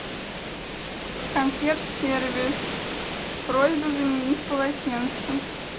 консьерж сервис просьба заменить полотенце